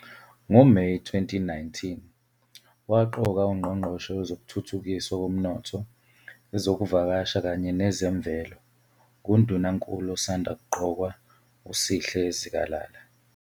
NgoMeyi 2019, waqoka uNgqongqoshe Wezokuthuthukiswa Komnotho, Ezokuvakasha kanye nezeMvelo nguNdunankulu osanda kuqokwa uSihle Zikalala.